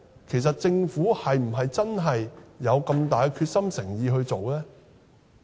其實，政府是否真的有很大的決心和誠意去做呢？